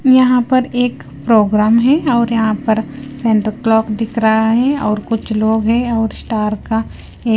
यहां पर एक प्रोग्राम है और यहां पर सेंटर क्लॉक दिख रहा है और कुछ लोग हैं और स्टार का--